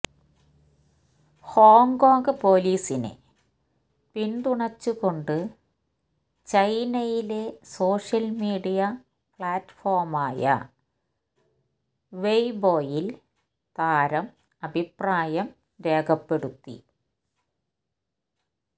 Hong Kong പോലീസിനെ പിന്തുണച്ചുകൊണ്ട് ചൈനയിലെ സോഷ്യൽ മീഡിയ പ്ലാറ്റ്ഫോമായ വെയ്ബോയിൽ താരം അഭിപ്രായം രേഖപ്പെടുത്തി